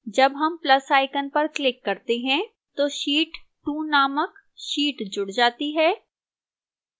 जब हम plus icon पर click करते हैं तो sheet2 named sheet जुड़ जाती है